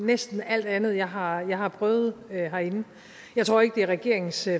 næsten alt andet jeg har har prøvet herinde jeg tror ikke det er regeringens